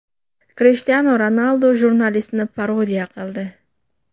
Krishtianu Ronaldu jurnalistni parodiya qildi .